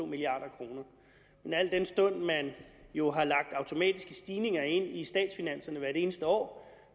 milliard kroner men al den stund at man jo har lagt automatiske stigninger ind i statsfinanserne hvert eneste år